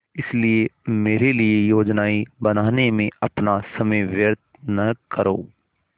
इसलिए मेरे लिए योजनाएँ बनाने में अपना समय व्यर्थ न करो